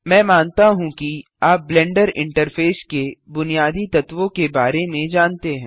मैं मानता हूँ कि आप ब्लेंडर इंटरफेस के बुनियादी तत्वों के बारे में जानते हैं